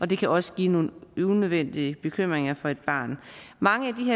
det kan også give nogle unødvendige bekymringer for et barn mange